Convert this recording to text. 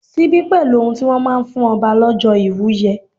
Síbí pẹ̀lú ohun tí wón máa ń fún ọba lọ́jọ́ ìwúye.